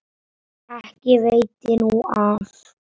Ekki veitti nú af.